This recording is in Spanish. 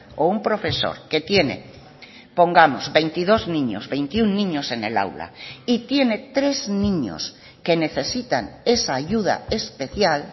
o un profesor que tiene pongamos veintidós niños veintiuno niños en el aula y tiene tres niños que necesitan esa ayuda especial